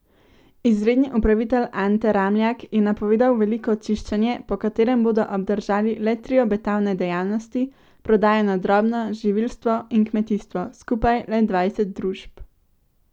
Izredni upravitelj Ante Ramljak je napovedal veliko čiščenje, po katerem bodo obdržali le tri obetavne dejavnosti, prodajo na drobno, živilstvo in kmetijstvo, skupaj le dvajset družb.